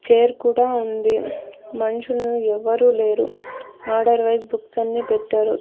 Chair కూడా ఉంది మన్షులు ఎవ్వరు లేరు ఆర్డర్ వైస్ బుక్స్ అన్నీ పెట్టారు.